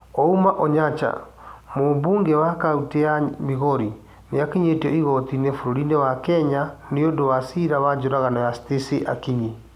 Ouma Onyancha: Mũmbunge wa kaũntĩ ya Migori nĩakinyĩtio igooti-inĩ bũrũri-inĩ wa Kenya nĩũndũ wa ciira wa njũragano ya Stacy Akinyi